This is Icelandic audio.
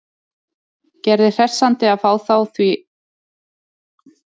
Gerði hressandi að fá þá því að Íslendingar hafi allt annað lundarfar en Ítalir.